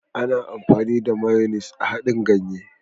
Ana amfani da " mayonnaise " a haɗin ganye.